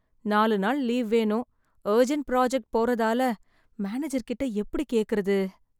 நாலு நாள் லீவ் வேணும், அர்ஜென்ட் ப்ராஜெக்ட் போறதால மேனேஜர் கிட்ட எப்படி கேக்கறது?